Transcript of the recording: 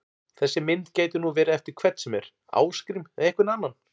Þessi mynd gæti nú verið eftir hvern sem er, Ásgrím eða einhvern annan!